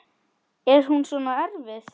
Er hún svona erfið?